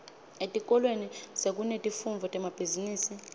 etikolweni sekunetifundvo temabhizimisi